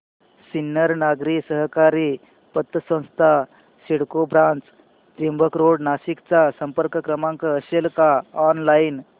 सिन्नर नागरी सहकारी पतसंस्था सिडको ब्रांच त्र्यंबक रोड नाशिक चा संपर्क क्रमांक असेल का ऑनलाइन